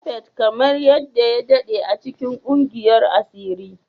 Japhet kamar yadda ya daɗe a cikin ƙungiyar asiri